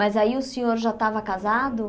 Mas aí o senhor já estava casado?